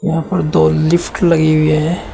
ऊपर दो लिफ्ट लगी हुए है।